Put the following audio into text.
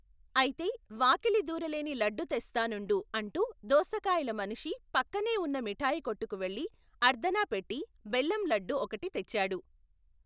ఐతే వాకిలి దూరలేని లడ్డు తెస్తా నుండు అంటూ దోసకాయల మనిషి పక్కనే వున్న మిఠాయికొట్టుకు వెళ్ళి అర్ధణా పెట్టి బెల్లం లడ్డు ఒకటి తెచ్చాడు.